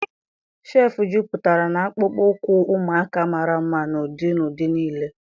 shelf jupụtara na akpụkpọ ụkwụ ụmụaka mara mma n'ụdị na ụdị niile.